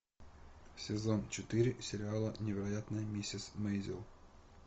сезон четыре сериала невероятная миссис мейзел